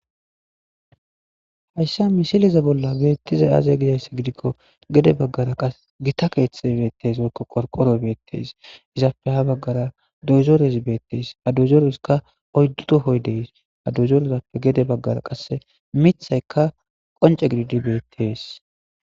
Hayisan misile bolla betizayisi aze giyaba gidiko gede bagara gita kethayi betees qorqoroyi betees izappe habagara dozorezi betes ha dozorezisika oyidu tohoyi dee's ha dozereppe gede bagara qasi mithayika qonc,e gididi betees